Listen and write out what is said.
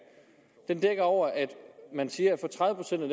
dækker over at man siger